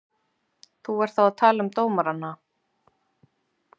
Þú ert þá að tala um dómarana?